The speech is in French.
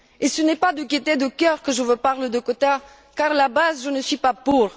Ce n'est pas de gaieté de cœur que je vous parle de quotas car à la base, je ne suis pas pour.